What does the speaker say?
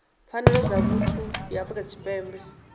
pfanelo dza vhuthu ya afrika tshipembe